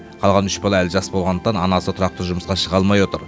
қалған үш бала әлі жас болғандықтан анасы тұрақты жұмысқа шыға алмай отыр